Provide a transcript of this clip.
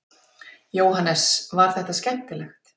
Jóhannes: Var þetta skemmtilegt?